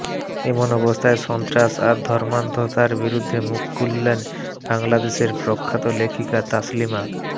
এমন অবস্থায় সন্ত্রাস আর ধর্মান্ধতার বিরুদ্ধে মুখ খুললেন বাংলাদেশের প্রখ্যাত লেখিকা তাসলিমা